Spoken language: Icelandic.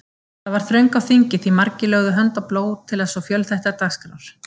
Þar var þröng á þingi, því margir lögðu hönd á plóg til svo fjölþættrar dagskrár.